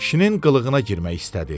Kişinin qılılığına girmək istədi.